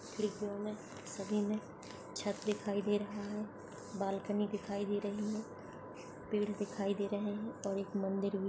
खिड्कियों मे सभी मे छत दिखाई दे रहा है बालकनी दिखाई दे रही है पेड़ दिखाई दे रहे है और एक मंदिर भी--